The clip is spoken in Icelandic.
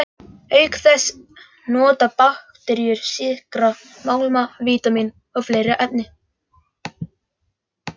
Auk þess nota bakteríur sykra, málma, vítamín og fleiri efni.